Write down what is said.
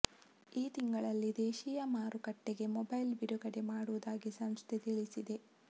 ಈ ತಿಂಗಳಲ್ಲಿ ದೇಶಿ ಮಾರುಕಟ್ಟೆಗೆ ಮೊಬೈಲ್ ಬಿಡುಗಡೆ ಮಾಡುವುದಾಗಿ ಸಂಸ್ಥೆ ತಿಳಿಸಿದೆ